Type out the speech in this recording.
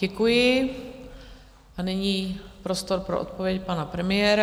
Děkuji a nyní prostor pro odpověď pana premiéra.